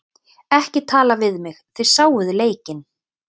Ekki tala við mig, þið sáuð leikinn.